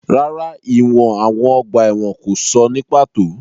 Rárá, ìwọ̀n àwọn ọgbà ẹ̀wọ̀n kò sọ ní pàtó.